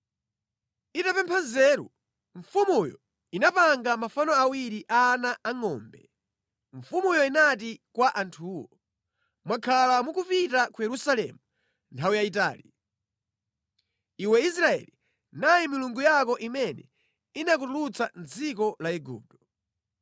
Itapempha nzeru, mfumuyo inapanga mafano awiri a ana angʼombe. Mfumuyo inati kwa anthuwo, “Mwakhala mukupita ku Yerusalemu nthawi yayitali. Iwe Israeli, nayi milungu yako imene inakutulutsa mʼdziko la Igupto.”